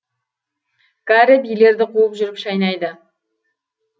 кәрі биелерді қуып жүріп шайнайды